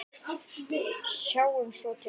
Sjáum svo til.